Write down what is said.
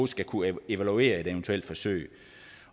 skal kunne evaluere et eventuelt forsøg